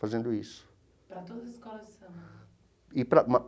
Fazendo isso. Para todas as escolas de samba? E